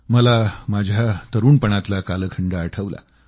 मला माझ्या तरूणपणातला कालखंड आठवला